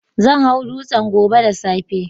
Zan hau dutsen gobe da safe.